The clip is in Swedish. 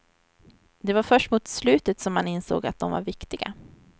Det var först mot slutet som han insåg att de var viktiga.